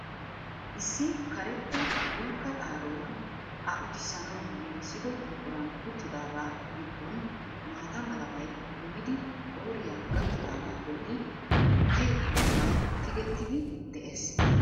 Issi karetta dulkka xaaroy a uttisanawu gigissido buquran uttidaagaa gidoon maatta malabay kummidi qooriya gakkidaagaa bolli tukke malabay tigettidi dees.